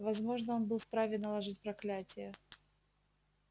возможно он был вправе наложить проклятие